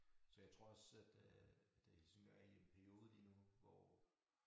Så jeg tror også at øh at Helsingør er i en periode lige nu hvor